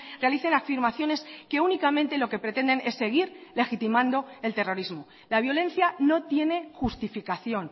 realicen afirmaciones que únicamente lo que pretenden es seguir legitimando el terrorismo la violencia no tiene justificación